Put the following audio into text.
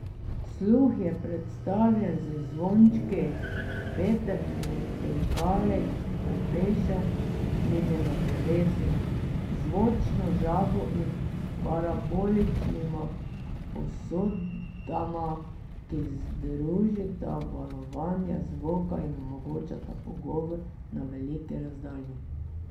Sluh je predstavljen z zvončki, vetrnimi tolkali, obešenimi na drevesu, zvočno žabo in s paraboličnima posodama, ki združita valovanje zvoka in omogočata pogovor na veliki razdalji.